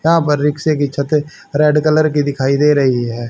यहां पर रिक्शे की छत रेड कलर की दिखाई दे रही है।